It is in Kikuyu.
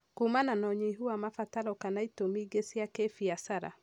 kũmana na ũynihu wa mabataro kana itũmi ingĩ cia kĩbiashara.